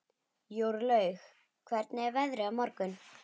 Jórlaug, hvernig er veðrið á morgun?